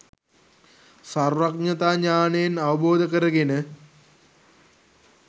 සර්වඥතා ඥානයෙන් අවබෝධ කරගෙන